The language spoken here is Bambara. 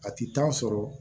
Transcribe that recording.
A ti taa sɔrɔ